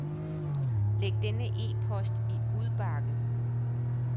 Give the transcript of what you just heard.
Læg denne e-post i udbakken.